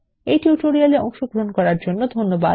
এই টিউটোরিয়াল এ অংশগ্রহন করার জন্য ধন্যবাদ